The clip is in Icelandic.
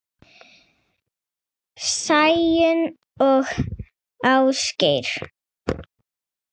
Sæunn og Ásgeir.